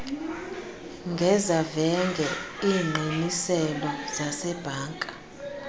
ngezavenge iingqiniselo zasebhanka